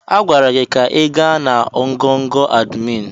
A gwara gị ka ị gaa na ngọngọ̀ admin!